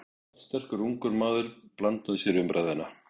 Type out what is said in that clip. Raddsterkur, ungur maður blandaði sér í umræðuna.